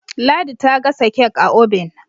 ladi ta gasa kek a obin